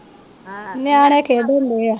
ਨਿਆਣੇ ਖੇਡਣ ਡੇ ਆ